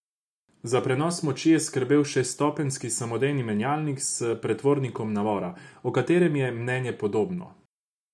Za prenos moči je skrbel šeststopenjski samodejni menjalnik s pretvornikom navora, o katerem je mnenje podobno.